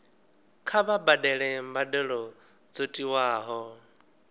kha vha badele mbadelo dzo tiwaho